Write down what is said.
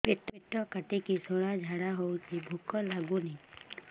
ପେଟ କାଟିକି ଶୂଳା ଝାଡ଼ା ହଉଚି ଭୁକ ଲାଗୁନି